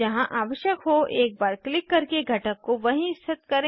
जहाँ आवश्यक हो एक बार क्लिक करके घटक को वहीं स्थित करें